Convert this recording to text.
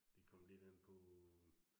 Det kom lidt an på